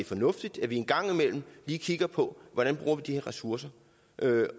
fornuftigt at vi engang imellem lige kigger på hvordan vi bruger de ressourcer